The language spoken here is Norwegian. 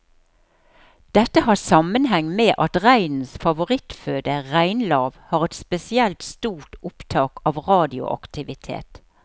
Dette har sammenheng med at reinens favorittføde, reinlav, har et spesielt stort opptak av radioaktivitet.